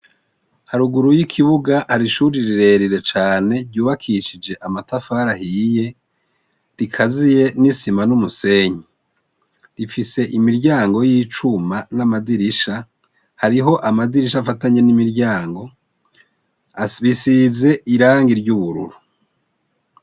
Haruguru y'ikibuga hari ishuri rirerire cane ryubakishije amatafari ahiye rikaziye n'isima n'umusenyi rifise imiryango y'icuma n'amadirisha hariho amadirisha afatanye n'imiryango bisize irangi ry'ubururu.